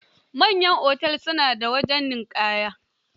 Manyan otel su na da wajen ninƙaya.